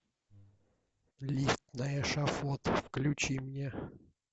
лифт на эшафот включи мне